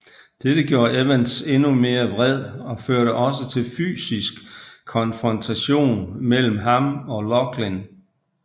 Dette gjorde Evans endnu mere vred og førte også til fysisk konfrontation mellem ham og Laughlin